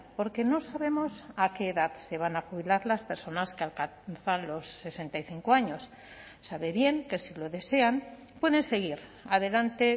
porque no sabemos a qué edad se van a jubilar las personas que alcanzan los sesenta y cinco años sabe bien que si lo desean pueden seguir adelante